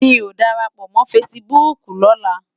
Mi ó ni dàrápò mò fãsibúk lòlá